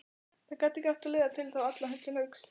Það gat ekki átt að leiða þá alla til höggs.